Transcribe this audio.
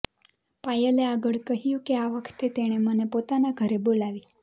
પાયલે આગળ કહ્યું કે આ વખતે તેણે મને પોતાના ઘરે બોલાવી